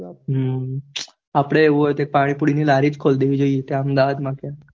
હમ અપડે આવું હોઈ તો પાણીપુરી ની લારી ખોલી દેવી પડે ત્યાં અમદાવાદ માં